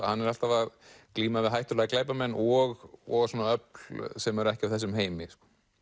hann er alltaf að glíma við hættulega glæpamenn og og öfl sem eru ekki af þessum heimi